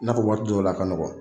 I n'a fɔ waati dɔw la a ka nɔgɔ.